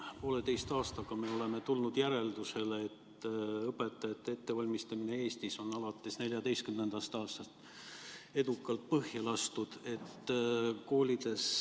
Poolteise aastaga me oleme tulnud järeldusele, et õpetajate ettevalmistamine Eestis on alates 2014. aastast edukalt põhja lastud.